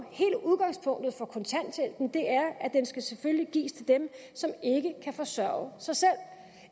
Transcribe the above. den selvfølgelig skal gives til dem som ikke kan forsørge sig selv